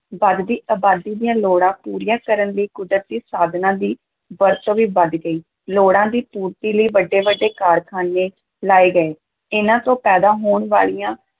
ਵੱਧਦੀ ਅਬਾਦੀ ਦੀਆਂ ਲੋੜਾਂ ਪੂਰੀਆਂ ਕਰਨ ਲਈ ਕੁਦਰਤੀ ਸਾਧਨਾਂ ਦੀ ਵਰਤੋਂ ਵੀ ਵਧ ਗਈ, ਲੋੜਾਂ ਦੀ ਪੂਰਤੀ ਲਈ ਵੱਡੇ-ਵੱਡੇ ਕਾਰਖਾਨੇ ਲਾਏ ਗਏ, ਇਹਨਾਂ ਤੋਂ ਪੈਦਾ ਹੋਣ ਵਾਲੀਆਂ